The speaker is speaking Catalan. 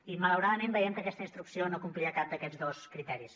i malauradament veiem que aquesta instrucció no complia cap d’aquests dos criteris